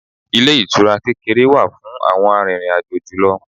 Ilé ìtura kékeré wà fún àwọn arìnrìn-àjò julọ.